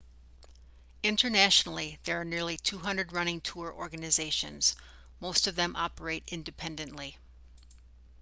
internationally there are nearly 200 running tour organizations most of them operate independently